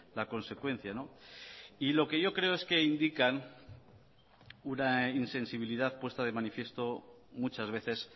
la consecuencia y lo que yo creo es que indican una insensibilidad puesta de manifiesto muchas veces